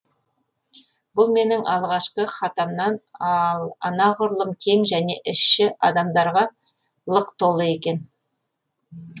бұл менің алғашқы хатамнан анағұрлым кең және іші адамдарға лық толы екен